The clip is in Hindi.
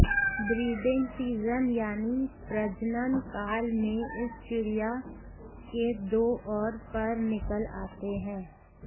ब्रीडिंग सीजन यानी प्रजनन काल में इस चिड़िया के दो और पर निकल आते है